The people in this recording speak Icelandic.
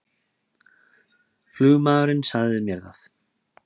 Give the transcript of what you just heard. Flugmaðurinn sagði mér það